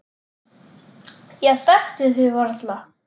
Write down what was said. Ég þekkti þig varla.